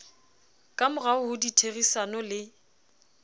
ka morao ho ditherisano le